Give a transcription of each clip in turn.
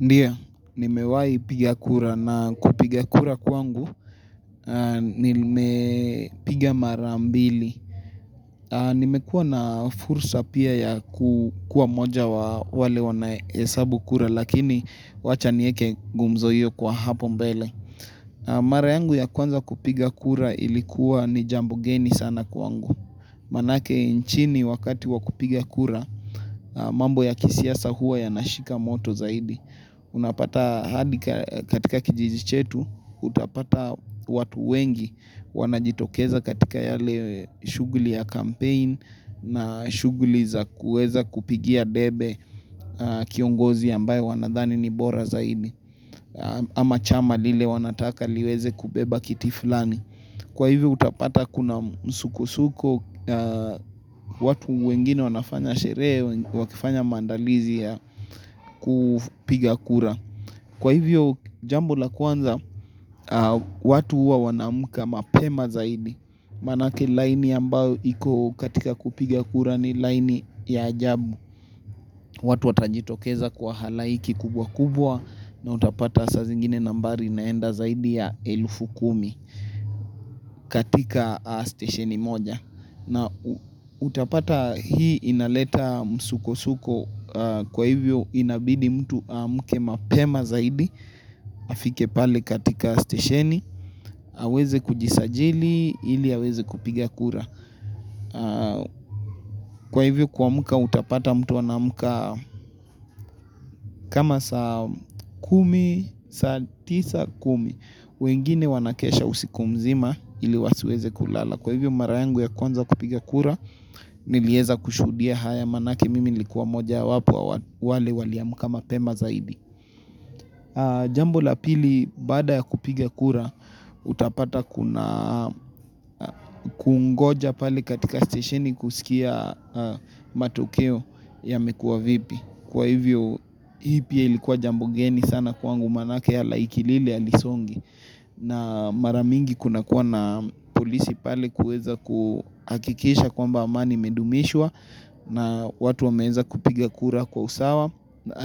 Ndiyo, nimewahi piga kura na kupiga kura kwangu, nimepiga marabmbili. Nimekuwa na fursa pia ya kukua moja wa wale wanahesabu kura lakini wachanieke gumzo hiyo kwa hapo mbele. Mara yangu ya kwanza kupiga kura ilikuwa ni jambu geni sana kwangu. Maanake nchini wakati wa kupiga kura, mambo ya kisiasa huwa yanashika moto zaidi. Unapata hadi katika kijiji chetu utapata watu wengi wanajitokeza katika yale shughuli ya campaign na shugulhuli za kuweza kupigia debe kiongozi ambaye wanadhani ni bora zaidi ama chama lile wanataka liweze kubeba kiti fulani. Kwa hivyo utapata kuna msukusuko watu wengine wanafanya sherehe wakifanya maandalizi ya kupiga kura. Kwa hivyo jambo la kwanza watu huwa wanaamka mapema zaidi Maanake line ambayo iko katika kupiga kura ni line ya ajabu watu watajitokeza kwa halaiki kubwa kubwa na utapata saa zingine nambari inaenda zaidi ya elfu kumi katika stesheni moja na utapata hii inaleta msukosuko kwa hivyo inabidi mtu amke mapema zaidi afike pale katika stesheni aweze kujisajili ili aweze kupiga kura kwa hivyo kuamka utapata mtu anaamka kama saa kumi, saa tisa kumi wengine wanakesha usiku mzima ili wasiweze kulala. Kwa hivyo mara yangu ya kwanza kupiga kura, nilieza kushuhudia haya maanake mimi nilikuwa mmojawapo ya wale waliamka mapema zaidi. Jambo la pili, baada ya kupiga kura, utapata kuna kungoja pale katika stesheni kusikia matokeo yamekua vipi. Kwa hivyo, hii pia ilikuwa jambo geni sana kwangu maanake halaiki lile halisongi. Na mara mingi kunakuwa na polisi pale kuweza kuhakikisha kwamba amani imedumishwa na watu wameeza kupiga kura kwa usawa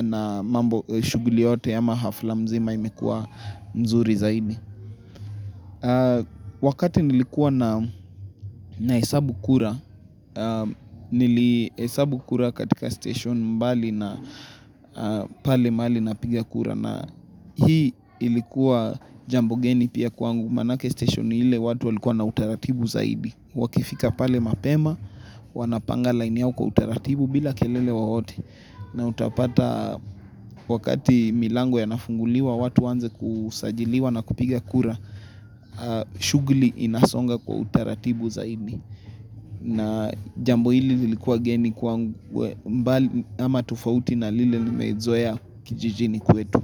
na mambo shughuli yote ama hafla mzima imekua mzuri zaidi Wakati nilikuwa nahesabu kura Nilihesabu kura katika station mbali na pale mahali napiga kura na hii ilikuwa jambo geni pia kwangu maanake station ile watu walikuwa na utaratibu zaidi Wakifika pale mapema wanapanga line yao kwa utaratibu bila kelele yeyote na utapata wakati milango yanafunguliwa watu waanze kusajiliwa na kupiga kura shughuli inasonga kwa utaratibu zaidi na jambo hili lilikuwa geni kwangu ama tofauti na lile nimezoea kijijini kwetu.